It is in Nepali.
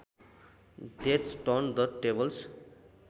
death turn the tables